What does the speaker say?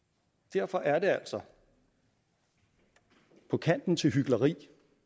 derfor er det altså på kanten til hykleri